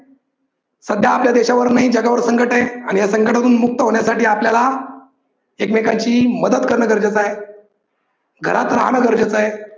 सध्या आपल्या देशावर नाही जगावर संकट आहे आणि या संकटातून मुक्त होण्यासाठी आपल्याला एकमेकांची मदत कारण गरजेच आहे, घरात राहाण गरजेच आहे.